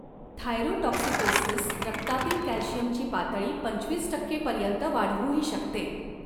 Thyrotoxicosis रक्तातील कॅल्शियमची पातळी पंचवीस टक्के पर्यंत वाढवूही शकते.